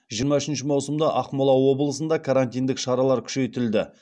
жиырма үшінші маусымда ақмола облысында карантиндік шаралар күшейтілді